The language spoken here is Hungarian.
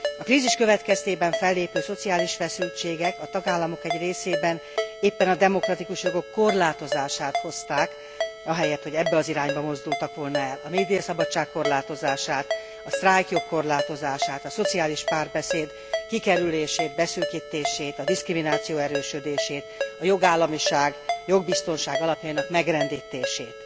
A krízis következtében fellépő szociális feszültségek a tagállamok egy részében éppen a demokratikus jogok korlátozását hozták ahelyett, hogy ebbe az irányba mozdultak volna el. A médiaszabadság korlátozását, a sztrájkjog korlátozását, a szociális párbeszéd kikerülését, beszűkítését, a diszkrimináció erősödését, a jogállamiság, jogbiztonság alapjainak megrendítését.